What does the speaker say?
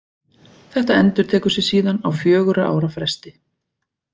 Þetta endurtekur sig síðan á fjögurra ára fresti.